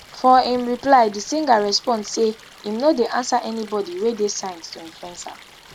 for im reply di singer respond say im no dey answer anybodi wey dey signed to influencer